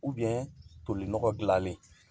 toli nɔgɔ gilanlen